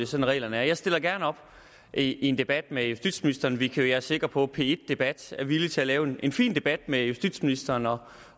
sådan reglerne er jeg stiller gerne op i en debat med justitsministeren vi kan være sikre på at p1 debat er villig til at lave en fin debat med justitsministeren og